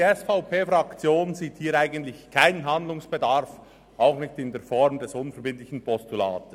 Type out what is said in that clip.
Die SVP-Fraktion sieht hier eigentlich keinen Handlungsbedarf, auch nicht in der Form des unverbindlichen Postulates.